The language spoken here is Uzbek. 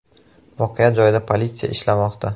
Voqea joyida politsiya ishlamoqda.